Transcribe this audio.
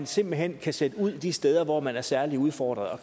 simpelt hen kan sendes ud til de steder hvor man er særlig udfordret og